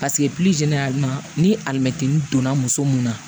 Paseke ni alimɛtiri donna muso mun na